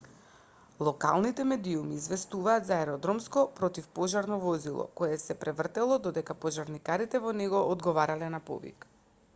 локалните медиуми известуваат за аеродромско противпожарно возило кое се превртело додека пожарникарите во него одговарале на повик